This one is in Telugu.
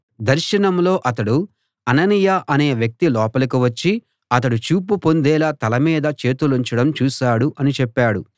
దర్శనంలో అతడు అననీయ అనే వ్యక్తి లోపలికి వచ్చి అతడు చూపు పొందేలా తల మీద చేతులుంచడం చూశాడు అని చెప్పాడు